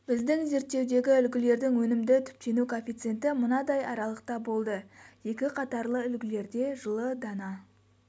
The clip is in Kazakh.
біздің зерттеудегі үлгілердің өнімді түптену коэффициенті мынадай аралықта болды екі қатарлы үлгілерде жылы дана